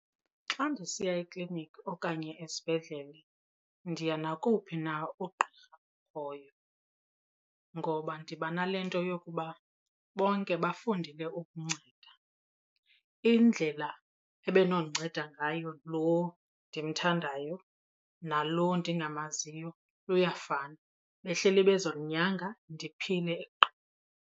Xa ndisiya ekliniki okanye esibhedlele ndiya nakowuphi na uqqirha okhoyo ngoba ndiba nale nto yokuba bonke bafundile ukunceda. Indlela ebenokundinceda ngayo loo ndimthandayo nalo ndingamaziyo kuyafana, behleli bezondinyanga ndiphile qha.